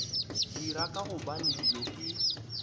dira ka gobane dilo ke